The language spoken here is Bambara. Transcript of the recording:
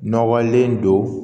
Nɔgɔlen don